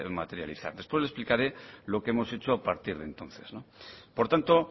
materializar después le explicaré lo que hemos hecho a partir de entonces por tanto